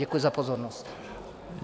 Děkuji za pozornost.